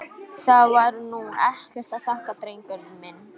Það var nú ekkert að þakka, drengur minn.